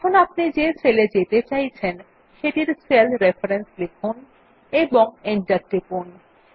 এখন আপনি যে সেল এ যেতে চাইছেন সেটির সেল রেফারেন্স লিখুন এবং এন্টার টিপুন